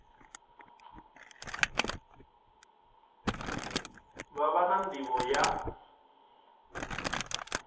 vha vha na nḓivho ya